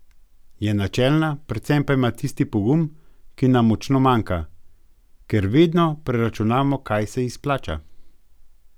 Je načelna, predvsem pa ima tisti pogum, ki nam močno manjka, ker vedno preračunamo, kaj se izplača.